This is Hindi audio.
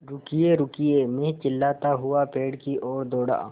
रुकिएरुकिए मैं चिल्लाता हुआ पेड़ की ओर दौड़ा